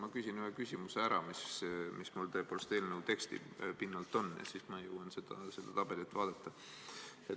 – küsin ma ühe küsimuse ära, mis on tõepoolest eelnõu teksti pinnalt, ja siis ma jõuan seda tabelit vaadata.